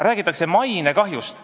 Räägitakse mainekahjust.